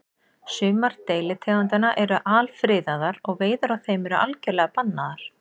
Sumar deilitegundanna eru alfriðaðar og veiðar á þeim eru algjörlega bannaðar.